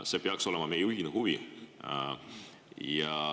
See peaks olema meie ühine huvi.